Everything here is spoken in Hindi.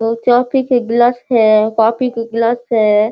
बहुत चाय पिए के गिलास है कॉफ़ी के गिलास है।